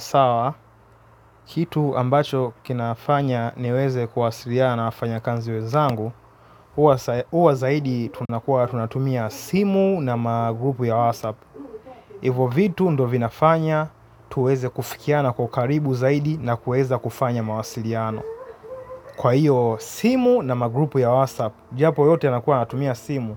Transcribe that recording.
Sawa, kitu ambacho kinafanya niweze kuwasiliana wa wafanya knzi wezangu huwa zaidi tunakua tunatumia simu na magrupu ya WhatsApp. Hivo vitu ndo vinafanya tuweze kufikiana kwa ukaribu zaidi na kuweza kufanya mawasiliano. Kwa hiyo simu na magrupu ya WhatsApp, japo yote yanakua natumia simu.